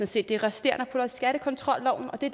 set det resterende og putter i skattekontrolloven og det